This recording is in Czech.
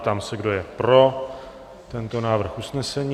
Ptám se, kdo je pro tento návrh usnesení?